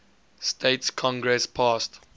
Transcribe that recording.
states congress passed